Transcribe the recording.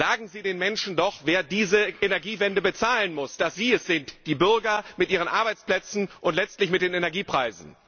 Sagen Sie den Menschen doch, wer diese Energiewende bezahlen muss, dass sie es sind, die Bürger, mit ihren Arbeitsplätzen und letztlich mit den Energiepreisen!